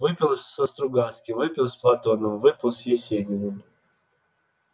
выпил со стругацкими выпил с платоновым выпил с есениным